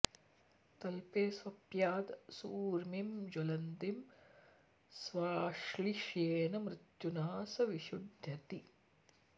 तल्पे स्वप्याद् सूर्मीं ज्वलन्तीं स्वाश्लिष्येन् मृत्युना स विशुध्यति